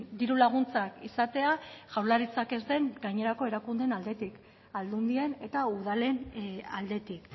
diru laguntzak izatea jaurlaritzak ez den gainerako erakundeen aldetik aldundien eta udalen aldetik